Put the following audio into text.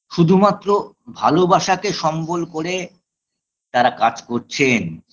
শুধুমাত্র ভালোবাসাকে সম্বল করে তারা কাজ করছেন